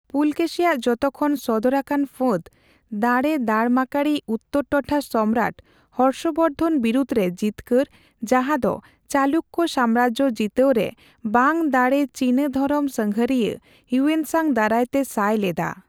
ᱯᱩᱞᱠᱮᱥᱤ ᱟᱜ ᱡᱚᱛᱚᱠᱷᱚᱱ ᱥᱚᱫᱚᱨᱟᱠᱟᱱ ᱯᱷᱟᱹᱫᱽ ᱫᱟᱲᱮ ᱫᱟᱲᱢᱟᱠᱟᱲᱤᱡ ᱩᱛᱛᱚᱨᱴᱚᱴᱷᱟ ᱥᱚᱢᱨᱟᱴ ᱦᱚᱨᱥᱚᱼ ᱵᱚᱨᱫᱷᱚᱱ ᱵᱤᱨᱩᱫ ᱨᱮ ᱡᱤᱛᱠᱟᱹᱨ, ᱡᱟᱦᱟᱸᱫᱚ ᱪᱟᱞᱩᱠᱠᱚ ᱥᱟᱢᱨᱟᱡᱽ ᱡᱤᱛᱟᱹᱣ ᱨᱮ ᱵᱟᱝ ᱫᱟᱲᱮ ᱪᱤᱱᱟ ᱫᱷᱚᱨᱚᱢ ᱥᱟᱸᱜᱷᱟᱨᱤᱭᱟᱹ ᱦᱮᱣᱱᱥᱟᱸᱝ ᱫᱟᱨᱟᱭᱛᱮ ᱥᱟᱭ ᱞᱮᱫᱟ ᱾